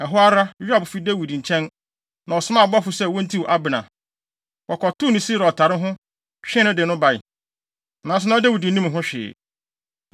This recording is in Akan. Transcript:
Ɛhɔ ara, Yoab fi Dawid nkyɛn, na ɔsomaa abɔfo sɛ wontiw Abner. Wɔkɔtoo no Sira ɔtare ho, twee no de no bae. Nanso na Dawid nnim ho hwee.